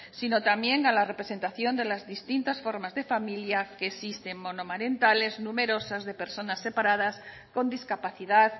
sino también a la representación de las distintas formas de familia que existen monomarentales numerosas de personas separadas con discapacidad